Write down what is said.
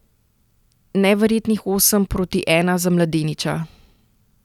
Neverjetnih osem proti ena za mladeniča!